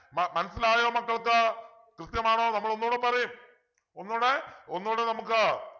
മ മനസ്സിലായോ മക്കൾക്ക് കൃത്യമാണോ നമ്മൾ ഒന്നൂടെ പറയും ഒന്നുടെ ഒന്നൂടെ നമുക്ക്